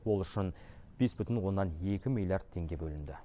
ол үшін бес бүтін оннан екі миллиард теңге бөлінді